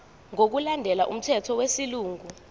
ngokulandela umthetho wesilungu